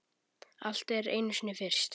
Allt er einu sinni fyrst.